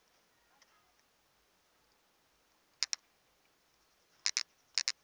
uḓo